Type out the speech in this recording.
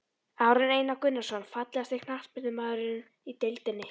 Aron Einar Gunnarsson Fallegasti knattspyrnumaðurinn í deildinni?